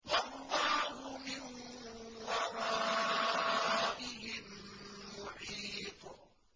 وَاللَّهُ مِن وَرَائِهِم مُّحِيطٌ